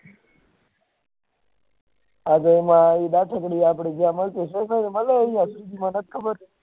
આપળે જ્યીયે એ મળે એનુ મનેજ ખબર